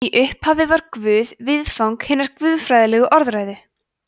í upphafi var guð viðfang hinnar guðfræðilegu orðræðu